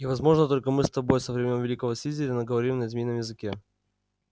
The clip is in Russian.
и возможно только мы с тобой со времён великого слизерина говорим на змеином языке